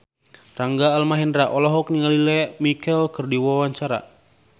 Rangga Almahendra olohok ningali Lea Michele keur diwawancara